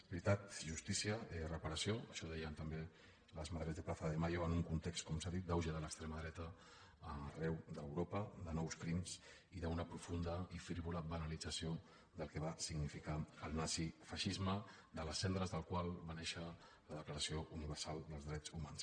veritat justícia reparació això deien també les madres de plaza de mayo en un context com s’ha dit d’auge de l’extrema dreta arreu d’europa de nous crims i d’una profunda i frívola banalització del que va significar el nazifeixisme de les cendres del qual va néixer la declaració universal dels drets humans